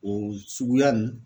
O suguya nin